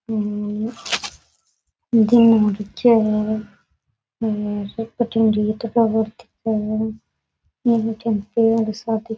हम्म दिन हु रख्यो है और --